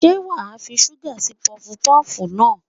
Ṣé wàá fi ṣúgà sí pọfupọ́fù náà?